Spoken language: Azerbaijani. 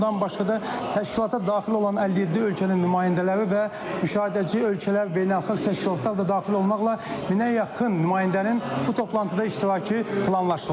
bundan başqa da təşkilata daxil olan 57 ölkənin nümayəndələri və müşahidəçi ölkələr, beynəlxalq təşkilatlar da daxil olmaqla minə yaxın nümayəndənin bu toplantıda iştirakı planlaşdırılıb.